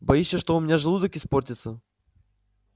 боишься что у меня желудок испортится